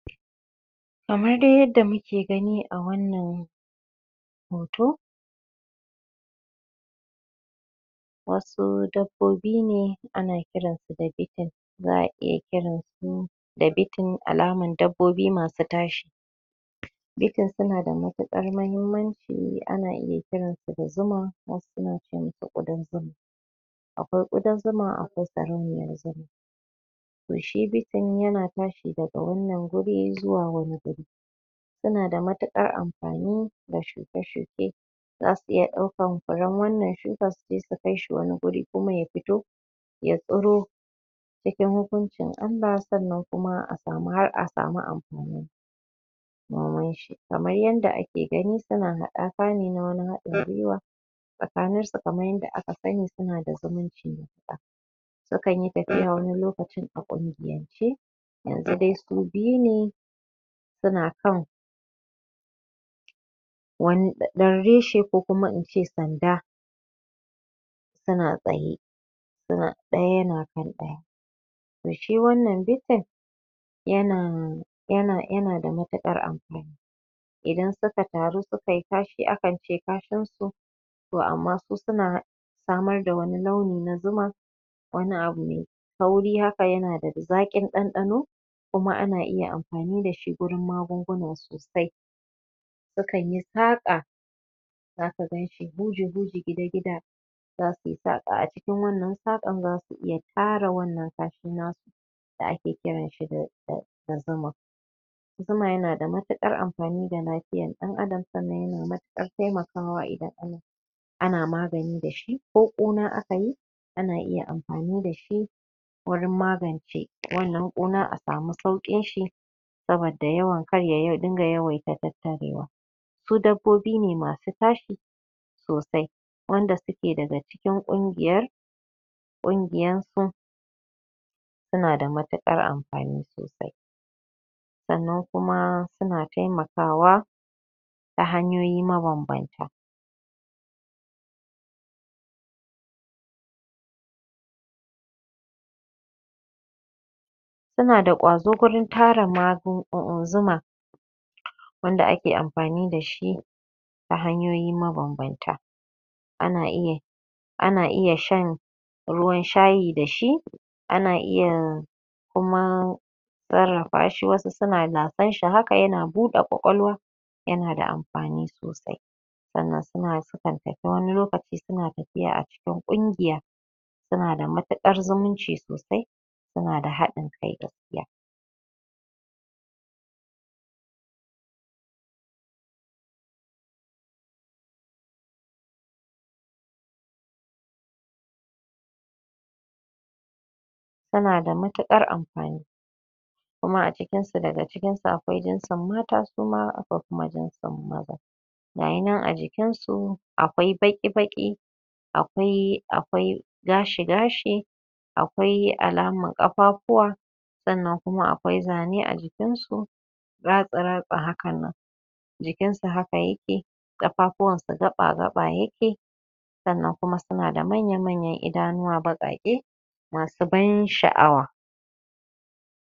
kamar dai yadda muke gani a wannan hoto wasu dabbobi ne ana kiran su da bitin za'a iya kiran su da bitin alaman dabbobu massu tashi bitin su na da matuƙar muhimmanci ana iya kiran su da zuma wasu suna ce mu su ƙudan zuma akwai ƙudan zuma akwai sarauniyar zuma to shi bitin yana tashi daga wannan guri zuwa wani zuri ya na da matuƙar amfani ga shuke-shuke zasu iya ɗaukan furen wannan shukan su je sunkai wani wuri kuma ya fito ya tsiro cikin hukuncin Allah sannan kuma har a samu amfani noman shi kamar yadda ake gani suna haɗaka ne na wani haɗin gwiwa tsakaninsu kamar yadda aka sani suna da zumunci matuƙa sukan yi tafiya wani lokaci a ƙungiyance yanzu su biyu ne suna kan wani ɗan reshe ko kuma in ce sanda suna tsaye ɗaya yana kan ɗaya to shi wannan bitin yana da matuƙar amfani idan suka taru suka yi kashi akance kashin su to amma su suna samar da wani launi na zuma wani abu mai kauri haka yana da zaƙin ɗanɗano kuma ana iya amfani da shi magunguna sosai sukan yi saƙa zaka ganshi huji-huji gida-gida za su yi saƙa a cikin wannan saƙan za su iya ƙara wannan kashin nasu sai ake kiran shi da zuma, zuma ya na da matuƙar amfani ga lafiyar ɗan adam sannan ya na matuƙar taimakawa idan ana na magani da shi ko ƙuna aka yi ana iya amfani da shi wurin magace wannan ƙuna a samu sauƙin shi saboda yawaitan tattarewa su dabbobi ne masu tashi sosai wanda suke daga cikin ƙungiyar??? suna da matuƙar amfani sosai sannan kuma suna taimakawa ta hanyoyi mabanbanta suna da ƙwazo wurin tara zuma wanda ake amfani da shi ta hanyoyi mabanbanta ana iya shan ruwan shayi da shi ana iya kuma sarrafa shi wasu lasar shi yana buɗa ƙwaƙwalwa ya na da amfani sosai sannan sukan tafi wani lokaci suna tafiya a cikin ƙungiya suna da matuƙar zumunci sosai su na da haɗin kai gaskiya suna da matuƙar amfani kuma a cikin su daga cikin su akwai jinsin mata suma akwai jinsin maza ga yi nan a jikinsu akwai baƙi-baƙi akwai gashi-gashi akwai alamar ƙafafuwa sannan kuma akwai zane a jikinsu ratsi-ratsi hakan nan jikin su haka yake ƙafafuwan su gaɓa-gaɓa yake sannan kuma suna da manyan-manyan idanuwa baƙaƙe masu ban sha'awa